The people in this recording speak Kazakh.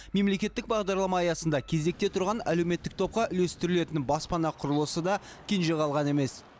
мемлекеттік бағдарлама аясында кезекте тұрған әлеуметтік топқа үлестірілетін баспана құрылысы да кенже қалған емес